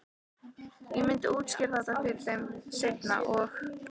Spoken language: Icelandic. Ég myndi útskýra þetta fyrir þeim seinna- og